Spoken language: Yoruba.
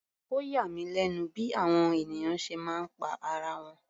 Ó yà mí lẹ́nu bí àwọn ènìyàn ṣe máa ń pa ara wọn.